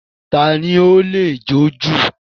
Tani ó lè jọ̀ jú?